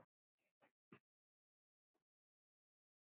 Elsku Nanna.